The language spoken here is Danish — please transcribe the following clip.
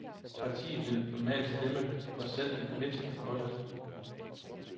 Partiet vil normalt stemme for selv den mindste forhøjelse.